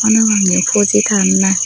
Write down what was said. hon no pang ye phoji tanna he.